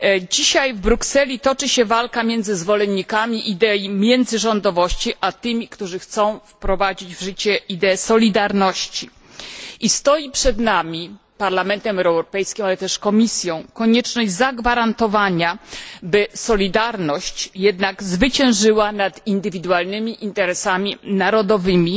Dzisiaj w Brukseli toczy się walka między zwolennikami idei międzyrządowości, a tymi, którzy chcą wprowadzić w życie ideę solidarności. Przed Parlamentem Europejskim, a także Komisją stoi konieczność zagwarantowania, by solidarność zwyciężyła jednak nad indywidualnymi interesami narodowymi